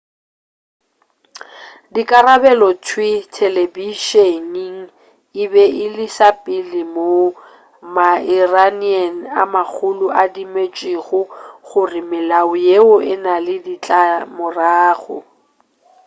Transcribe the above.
dikarabelo thwii telebišening e be e le sa pele moo ma-iranian a magolo a dumetšego gore melao yeo e na le ditlamorago